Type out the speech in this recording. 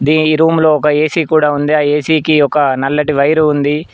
The ఈ room లో ఒక ఏసీ కూడా ఉంది ఆ ఏసీ కి ఒక నల్లటి వైరు ఉంది.